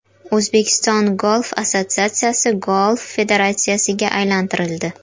O‘zbekiston Golf assotsiatsiyasi Golf federatsiyasiga aylantirildi.